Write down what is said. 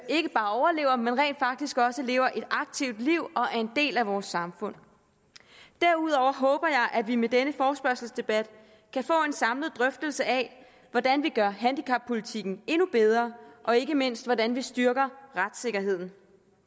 ikke bare overlever men rent faktisk også lever et aktivt liv og er en del af vores samfund derudover håber jeg at vi med denne forespørgselsdebat kan få en samlet drøftelse af hvordan vi gør handicappolitikken endnu bedre og ikke mindst hvordan vi styrker retssikkerheden